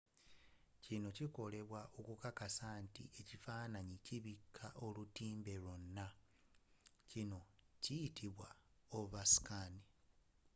kino kikolebwa okukakasa nti ekifaananyi kibika olutimbe lyonna. ekyo kiyitibwa overscan